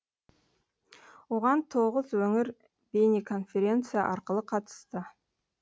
оған тоғыз өңір бейнеконференция арқылы қатысты